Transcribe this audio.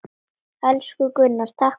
Elsku Gunnar, takk fyrir allt.